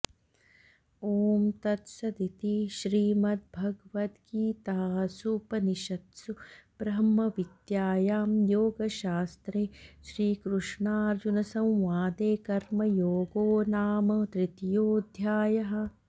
ॐ तत्सदिति श्रीमद्भगवद्गीतासूपनिषत्सु ब्रह्मविद्यायां योगशास्त्रे श्रीकृष्णार्जुनसंवादे कर्मयोगो नाम तृतीयोऽध्यायः